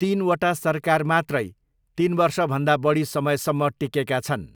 तिनवटा सरकार मात्रै तिन वर्षभन्दा बढी समयसम्म टिकेका छन्।